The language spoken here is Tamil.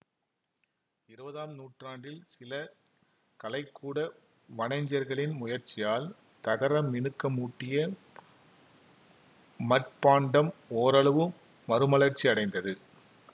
இருவதாம் நூற்றாண்டில் சில கலைக்கூட வனைஞர்களின் முயற்சியால் தகரமினுக்கமூட்டிய மட்பாண்டம் ஓரளவு மறுமலர்ச்சி அடைந்தது